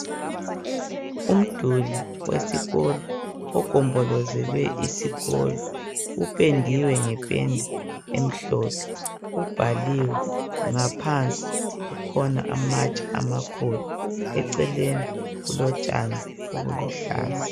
Umduli wesikolo ogombolozele isikolo upendiwe ngependa emhlophe ubhaliwe ngaphansi kukhona amatshe amakhulu eceleni kulotshani obuluhlaza.